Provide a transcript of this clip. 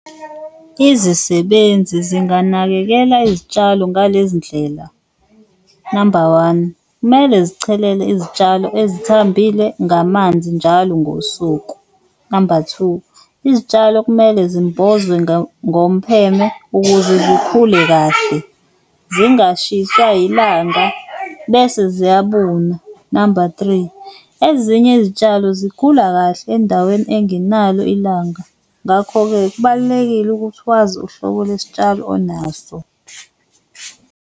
Izisebenzi zinganakekela izitshalo ngalezi ndlela, namba one kumele zichelele izitshalo ezithambile ngamanzi njalo ngosuku. Namba two, izitshalo kumele zimbozwe ngompheme ukuze zikhule kahle zingashiswa ilanga bese ziyabuna. Namba three, ezinye izitshalo zikhula kahle endaweni engenalo ilanga, ngakho-ke kubalulekile ukuthi wazi uhlobo lwesitshalo onaso.